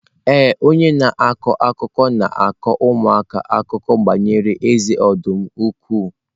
Ee, onye na-akọ akụkọ na-akọ ụmụaka akụkọ banyere eze ọdụm ukwu.